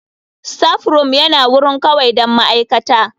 Staffroom yana wurin kawai don ma'aikata.